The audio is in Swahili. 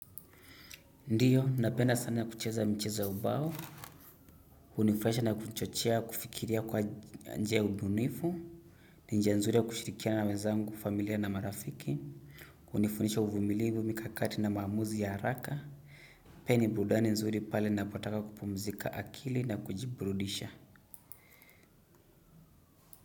Ndiyo, napenda sana kucheza michezo ya ubao. Hunifurahisha na kuchochea, kufikiria kwa njia ya ubunifu. Ni njia nzuri ya kushirikiana na wenzangu, familia na marafiki. Hunifundisha uvumilivu mikakati na maamuzi ya haraka. Pia ni burudani nzuri pale ninapotaka kupumzika akili na kujiburudisha.